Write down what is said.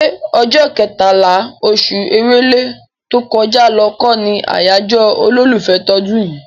ṣé ọjọ́ kẹtàlá, oṣù Èrèlé tó kọjá lọ kọ́ ni àyájọ́ olólùfẹ́ tọdún yìí?